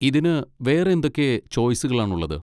ഇതിന് വേറെ എന്തൊക്കെ ചോയ്സുകളാണ് ഉള്ളത്?